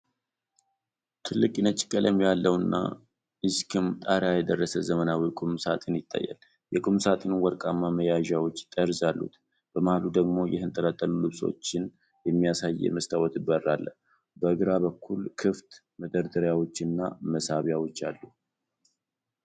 ትልቅ ነጭ ቀለም ያለውና እስከ ጣሪያ የደረሰ ዘመናዊ ቁም ሣጥን ይታያል። የቁም ሣጥኑ ወርቃማ መያዣዎችና ጠርዝ አሉት፤ በመሃሉ ደግሞ የተንጠለጠሉ ልብሶችን የሚያሳይ የመስታወት በር አለ። በግራ በኩል ክፍት መደርደሪያዎችና መሳቢያዎች አሉ።